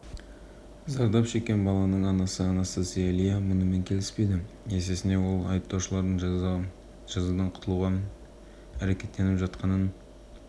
жүргізушінің туыстарының айтуынша балалар көліктің алдына жүгіріп шығып көлік жүргізушісі тежеуішті басып үлгермей қалса керек алайда